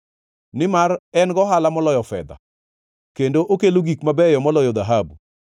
nimar en gohala moloyo fedha kendo okelo gik mabeyo moloyo dhahabu.